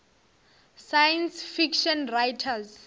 science fiction writers